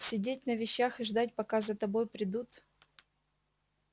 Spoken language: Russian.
сидеть на вещах и ждать пока за тобой придут